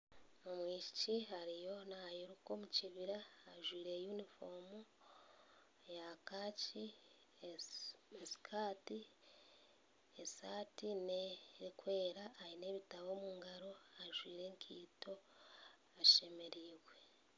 Omwishiki ariyo nairuka omu kibira ajwaire yunifoomu eya kaaki esi na sikaati. Esaati n'erikwera aine ebitabo omu ngaaro, ajwaire enkaito ashemereirwe.